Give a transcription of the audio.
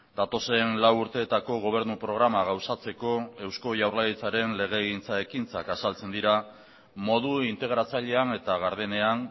datozen lau urteetako gobernu programa gauzatzeko eusko jaurlaritzaren legegintza ekintzak azaltzen dira modu integratzailean eta gardenean